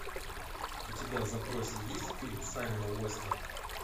у тебя в запросе есть фильм саймона уэста